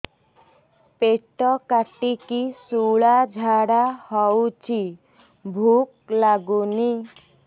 ପେଟ କାଟିକି ଶୂଳା ଝାଡ଼ା ହଉଚି ଭୁକ ଲାଗୁନି